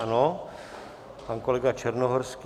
Ano, pan kolega Černohorský.